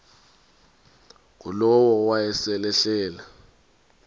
ngulowo wayesel ehleli